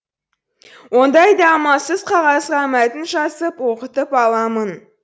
ондайда амалсыз қағазға мәтін жазып оқытып аламын